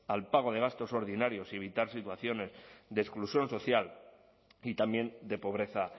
al pago de gastos ordinarios y evitar situaciones de exclusión social y también de pobreza